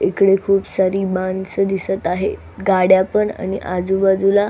इकडे खूप सारी माणस दिसत आहे गाड्या पण आणि आजूबाजूला--